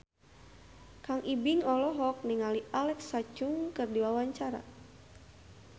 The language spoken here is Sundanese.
Kang Ibing olohok ningali Alexa Chung keur diwawancara